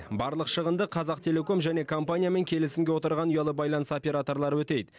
барлық шығынды қазақтелеком және компаниямен келісімге отырған ұялы байланыс операторлары өтейді